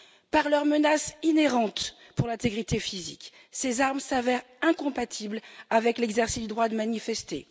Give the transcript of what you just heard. Par leurs menaces inhérentes pour l'intégrité physique, ces armes s'avèrent incompatibles avec l'exercice du droit de manifester.